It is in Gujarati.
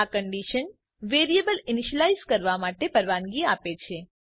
આ કન્ડીશન વેરિયેબલ ઇનીશ્યલાઈઝ કરવા માટેની પરવાનગી આપે છે